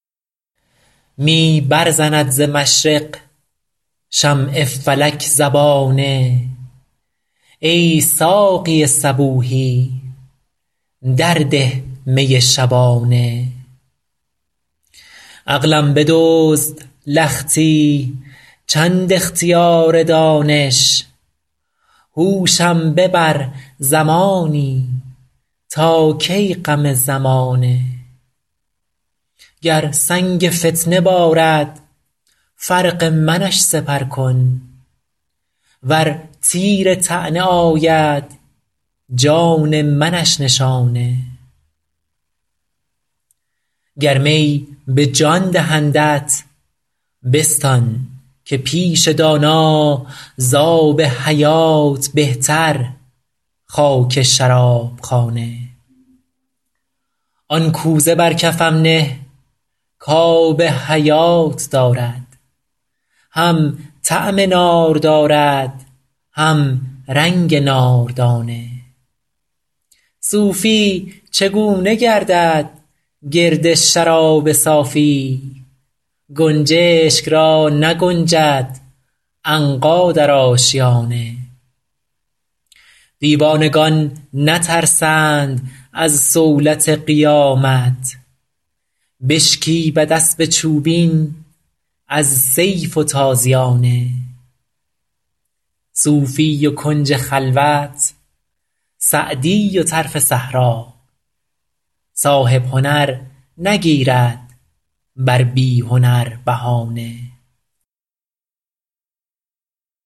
می برزند ز مشرق شمع فلک زبانه ای ساقی صبوحی در ده می شبانه عقلم بدزد لختی چند اختیار دانش هوشم ببر زمانی تا کی غم زمانه گر سنگ فتنه بارد فرق منش سپر کن ور تیر طعنه آید جان منش نشانه گر می به جان دهندت بستان که پیش دانا زآب حیات بهتر خاک شراب خانه آن کوزه بر کفم نه کآب حیات دارد هم طعم نار دارد هم رنگ ناردانه صوفی چگونه گردد گرد شراب صافی گنجشک را نگنجد عنقا در آشیانه دیوانگان نترسند از صولت قیامت بشکیبد اسب چوبین از سیف و تازیانه صوفی و کنج خلوت سعدی و طرف صحرا صاحب هنر نگیرد بر بی هنر بهانه